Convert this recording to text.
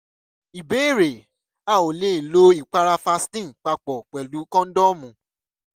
ìbéèrè: a ò lè lo ìpara vaseline papọ̀ pẹ̀lú kóńdọ́ọ̀mù